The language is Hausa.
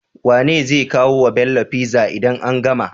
Wane zai kawo wa Bello pizza idan an gama?